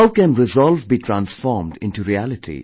How can resolve be transformed into reality